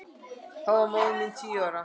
Þá var móðir mín tíu ára.